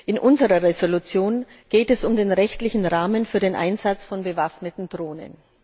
In unserer Entschließung geht es um den rechtlichen Rahmen für den Einsatz von bewaffneten Drohnen.